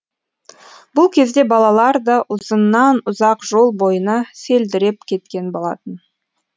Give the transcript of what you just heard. бұл кезде балалар да ұзыннан ұзақ жол бойына селдіреп кеткен болатын